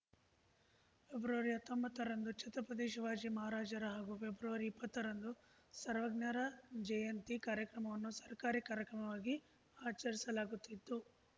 February ಹತ್ತೊಂಬತ್ತ ರಂದು ಛತ್ರಪತಿ ಶಿವಾಜಿ ಮಹಾರಾಜರ ಹಾಗೂ ಫೆಬ್ರವರಿ ಇಪ್ಪತ್ತ ರಂದು ಸರ್ವಜ್ಞರ ಜಯಂತಿ ಕಾರ್ಯಕ್ರಮವನ್ನು ಸರ್ಕಾರಿ ಕಾರ್ಯಕ್ರಮವಾಗಿ ಆಚರಿಸಲಾಗುತ್ತಿದ್ದು